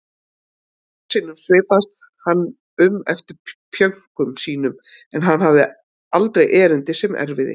Einstaka sinnum svipaðist hann um eftir pjönkum sínum en hafði aldrei erindi sem erfiði.